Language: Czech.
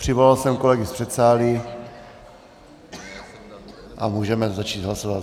Přivolal jsem kolegy z předsálí a můžeme začít hlasovat.